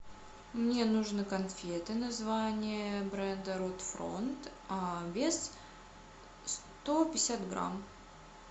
мне нужно конфеты название бренда ротфронт а вес сто пятьдесят грамм